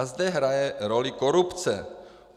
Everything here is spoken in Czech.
A zde hraje roli korupce.